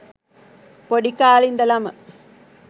පොඩි කාලෙ ඉඳලම